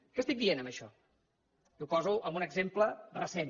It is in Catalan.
què estic dient amb això i ho poso amb un exemple recent